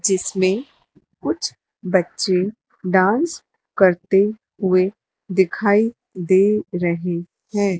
जिसमें कुछ बच्चे डांस करते हुए दिखाई दे रहे है।